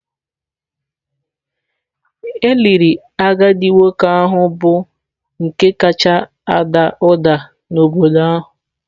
E liri agadi nwoke ahụ bụ nke kacha ada ụda n’obodo ahụ